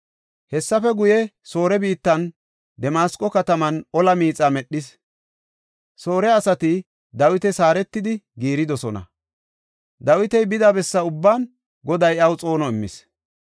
Hessafe guye, Soore biittan Damasqo kataman ola miixa medhis. Soore asati Dawitas haaretidi giiridosona. Dawiti bida bessa ubban Goday iyaw xoono immis.